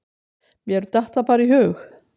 Mér datt það bara í hug.